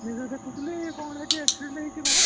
News ରେ ଦେଖୁଥିଲି କଣ ହେଇଛି accident ହେଇଛି କଣ